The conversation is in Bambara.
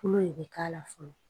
Kolo de bɛ k'a la fɔlɔ